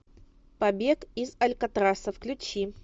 побег из алькатраса включи